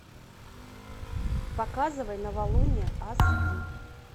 показывай новолуние аш ди